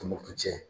Tombouctou